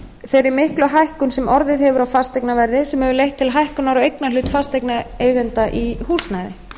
þeirri miklu hækkun sem orðið hefur á fasteignaverði sem hefur leitt til hækkunar á eignarhlut fasteignaeigenda í húsnæði